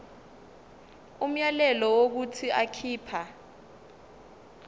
umyalelo wokuthi akhipha